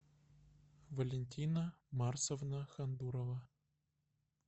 валентина марсовна хандурова